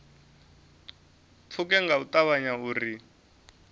pfuke nga u ṱavhanya uri